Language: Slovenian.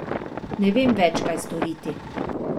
Ne vem več, kaj storiti.